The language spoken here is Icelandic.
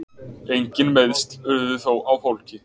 Engin meiðsl urðu þó á fólki